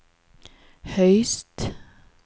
høyest